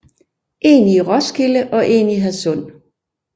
En i Roskilde og en i Hadsund